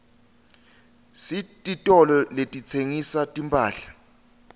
sititolo letitsengisa timphahla